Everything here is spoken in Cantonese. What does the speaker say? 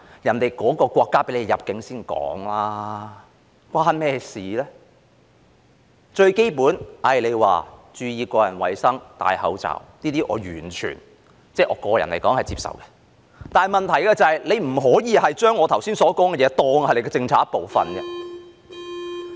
注意個人衞生、佩戴口罩等最基本的措施，我個人來說完全接受，但問題是不可以將我剛才所說的事情，當成政府政策的一部分。